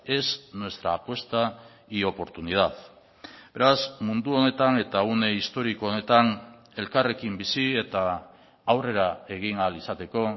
es nuestra apuesta y oportunidad beraz mundu honetan eta une historiko honetan elkarrekin bizi eta aurrera egin ahal izateko